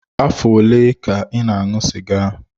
Afọ ole ka ị na-aṅụ sịga?